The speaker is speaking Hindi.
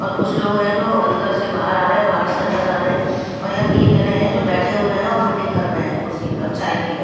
और कुछ लोग हैं जो अंदर से बाहर आ रहे हैं बाहर से अंदर जा रहे हैं और यहां तीन जने हैं जो बैठे हुए हैं और मीटिंग कर रहे हैं कुर्सी पे और चाय पी रहे--